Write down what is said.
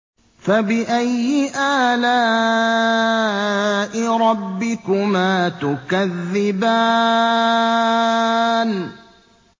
فَبِأَيِّ آلَاءِ رَبِّكُمَا تُكَذِّبَانِ